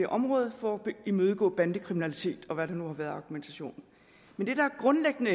område for at imødegå bandekriminalitet og hvad der nu har været af argumentation men det der grundlæggende